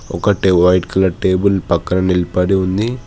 ఒకటి white colour table పక్కన నిలబడి ఉంది.